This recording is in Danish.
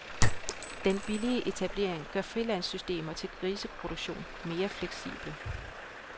Den billige etablering gør frilandssystemer til griseproduktion mere fleksible.